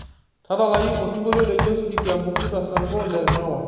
tadalayu osingolio le josky kiambukuta sango le mawa